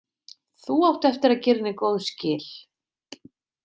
Þú átt eftir að gera henni góð skil.